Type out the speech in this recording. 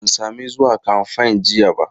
Ban sami zuwa kamfen jiya ba.